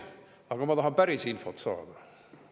Aga ma tahan päris infot saada.